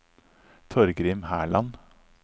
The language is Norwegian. Torgrim Herland